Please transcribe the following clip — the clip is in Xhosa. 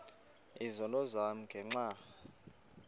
izono zam ngenxa